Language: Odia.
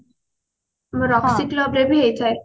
roxy club ରେ ବି ହେଇଥାଏ